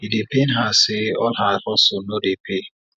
e dey pain her say all her hustle no dey pay